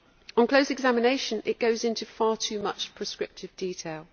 On close examination it goes into far too much prescriptive detail.